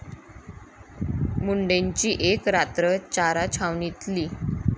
मुंडेंची एक रात्र चारा छावणीतली!